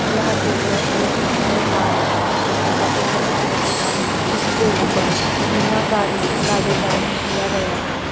यह चित्र एक मंदिर का है जो सफेद रंग से पूता है इसके ऊपर मीनाकारी का डिज़ाइन किया गया है।